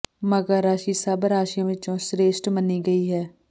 ਮਕਰ ਰਾਸ਼ੀ ਸਭ ਰਾਸ਼ੀਆਂ ਵਿੱਚੋਂ ਸ੍ਰੇਸ਼ਟ ਮੰਨੀ ਗਈ ਹੈ